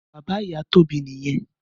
Bàbá ìyá Tobi niyèn